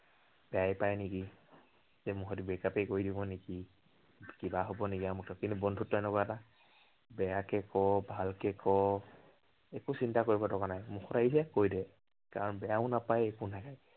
বেয়াই পাই নেকি, যে মোৰ সৈতে break up য়েই কৰি দিব নেকি। কিবা হব নেকি, আমুক তামুক। কিন্তু বন্ধুত্ব এনেকুৱা এটা, বেয়াকে কৱ, ভালকে কৱ, একো চিন্তা কৰিব দৰকাৰ নাই, মুখত আহিছে কৈ দে। কাৰন বেয়াও নাপায়, একো নাই।